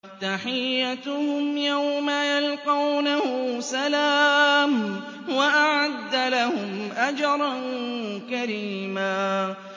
تَحِيَّتُهُمْ يَوْمَ يَلْقَوْنَهُ سَلَامٌ ۚ وَأَعَدَّ لَهُمْ أَجْرًا كَرِيمًا